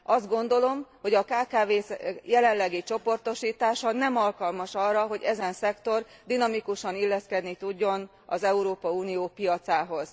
Azt gondolom, hogy a kkv k jelenlegi csoportosítása nem alkalmas arra, hogy ezen szektor dinamikusan illeszkedni tudjon az Európai Unió piacához.